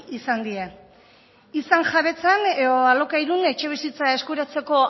izan die izan jabetzan edo alokairun etxebizitza eskuratzeko